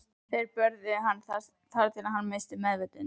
Þeir börðu hann þar til hann missti meðvitund.